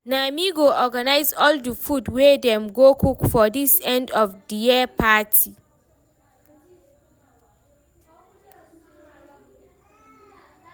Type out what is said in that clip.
na me go organize all the food wey Dem go cook for this end of the year party